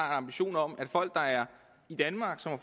ambition om at folk der er i danmark som har